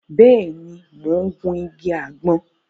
Béèni, mo n gun ìgi àgbọn